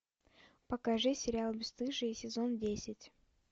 покажи сериал бесстыжие сезон десять